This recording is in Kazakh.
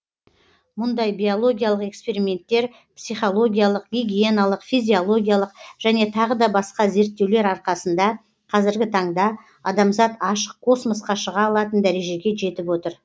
мұндай биологиялық эксперименттер психологиялық гигиеналық физиологиялық және тағы да басқа зерттеулер арқасында казіргі таңда адамзат ашық космосқа шыға алатын дәрежеге жетіп отыр